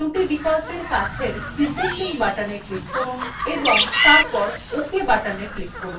দুটি বিকল্পের কাছের descending button click করুন এবং তারপর ok button click করুন